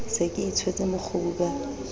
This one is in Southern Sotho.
se ke itshwetse mokgubu ka